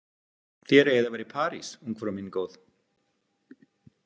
Þér eigið að vera í París, ungfrú mín góð.